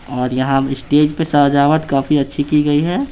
और यहां स्टेज पे सजावट काफी अच्छी की गई है।